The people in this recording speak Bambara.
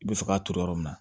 I bɛ fɛ ka turu yɔrɔ min na